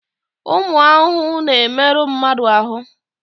Ụmụ ahụhụ na-emerụ mmadụ ahụ.